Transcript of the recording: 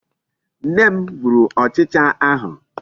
Nne m gburu ụchịcha ahụ.